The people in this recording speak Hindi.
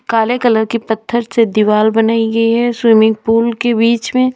काले कलर की पत्थर से दीवाल बनाई गई है स्विमिंग पूल के बीच में--